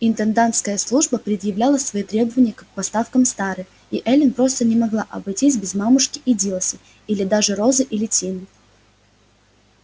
интендантская служба предъявляла свои требования к поставкам с тары и эллин просто не могла обойтись без мамушки или дилси или даже розы или тины